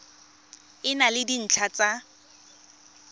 e na le dintlha tsa